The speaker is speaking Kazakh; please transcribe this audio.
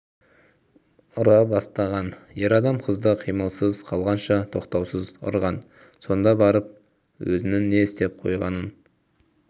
ұра бастаған ер адам қызды қимылсыз қалғанша тоқтаусыз ұрған сонда барып өзінің не істеп қойғанын